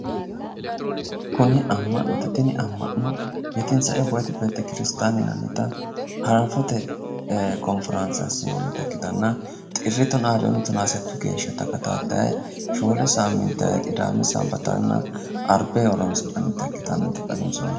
kuni amma'note tini amma'no yetinsae hiwoti yinannita hanafote konforaanse assinoonnita ikkitanna xirri tonaa lewuunni tonaa settu geya takatataye shoole qidaame sanbatanna arbe horonsi'nanita ikkitinota xawinsoonni.